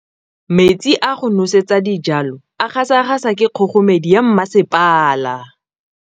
Go batlisisa ka boitshwaro jwa Kagiso kwa sekolong ke tshikinyêgô tota.